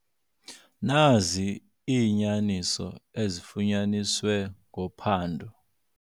Nazi iinyaniso ezifunyaniswe ngophando.